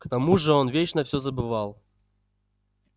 к тому же он вечно всё забывал